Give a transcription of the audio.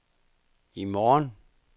i morgen